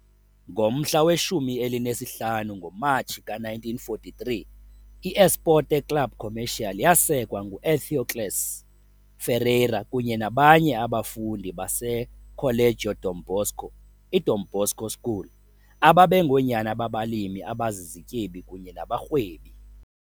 Ngomhla we-15 ngoMatshi ka-1943, I-Esporte Clube Comercial yasekwa ngu-Etheócles Ferreira kunye nabanye abafundi baseColégio Dom Bosco, "iDom Bosco School", ababengoonyana babalimi abazizityebi kunye nabarhwebi.